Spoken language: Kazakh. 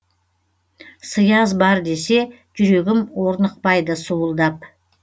сыяз бар десе жүрегім орнықпайды суылдап